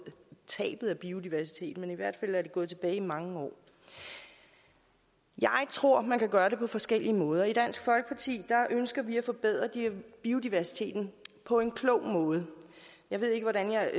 tabet af biodiversitet men i hvert fald er det gået tilbage i mange år jeg tror man kan gøre det på forskellige måder i dansk folkeparti ønsker vi at forbedre biodiversiteten på en klog måde jeg ved ikke hvordan jeg